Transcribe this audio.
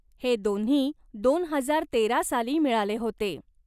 हे दोन्ही दोन हजार तेरा साली मिळाले होते.